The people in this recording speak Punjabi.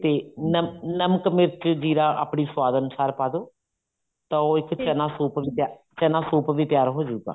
ਤੇ ਨਮ ਨਮਕ ਮਿਰਚ ਜ਼ੀਰਾ ਆਪਣੇ ਸਵਾਦ ਅਨੁਸਾਰ ਪਾਦੋ ਤਾਂ ਉਹ ਇੱਕ ਵੀ ਤਿਆਰ ਚਨਾ ਸੂਪ ਵੀ ਤਿਆਰ ਹੋਜੂਗਾ